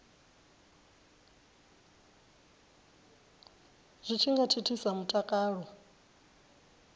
zwi tshi nga thithisa mutakalo